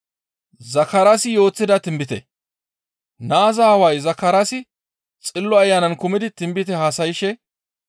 Naaza aaway Zakaraasi Xillo Ayanan kumidi tinbite haasayshe,